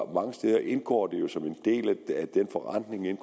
mange steder indgår den forrentning jo